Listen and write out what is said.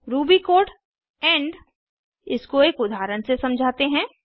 Ruby code end इसको एक उदाहरण से समझाते हैं